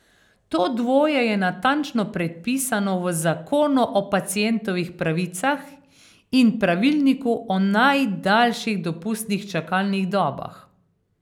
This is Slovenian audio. To dvoje je natančno predpisano v Zakonu o pacientovih pravicah in Pravilniku o najdaljših dopustnih čakalnih dobah.